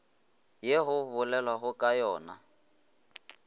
ye go bolelwago ka yona